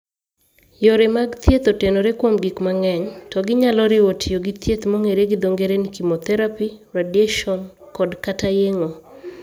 Yore mag thieth otenore kuom gik mang'eny, to ginyalo riwo tiyo githiedh mong'ere gi dho ng'ere ni chemotherapy, radiation kod/kata yeng'o.